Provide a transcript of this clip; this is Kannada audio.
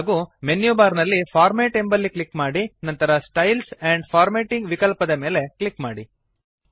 ಹಾಗೂ ಮೆನ್ಯುಬಾರ್ ನಲ್ಲಿ ಫಾರ್ಮ್ಯಾಟ್ ಎಂಬಲ್ಲಿ ಕ್ಲಿಕ್ ಮಾಡಿ ನಂತರ ಸ್ಟೈಲ್ಸ್ ಆಂಡ್ ಫಾರ್ಮ್ಯಾಟಿಂಗ್ ವಿಕಲ್ಪದ ಮೇಲೆ ಕ್ಲಿಕ್ ಮಾಡಿ